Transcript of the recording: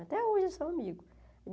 Até hoje eles são amigos.